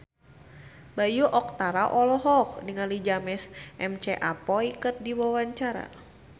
Bayu Octara olohok ningali James McAvoy keur diwawancara